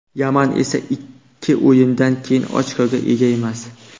Yaman esa ikki o‘yindan keyin ochkoga ega emas.